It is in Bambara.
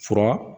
Fura